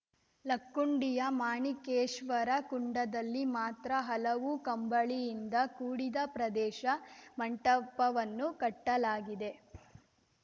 ಲಕ್ಕುಂಡಿಯ ಮಾಣಿಕೇಶ್ವರಕುಂಡದಲ್ಲಿ ಮಾತ್ರ ಹಲವು ಕಂಬಳಿಯಿಂದ ಕೂಡಿದ ಪ್ರವೇಶ ಮಂಟಪವನ್ನುಕಟ್ಟಲಾಗಿದೆ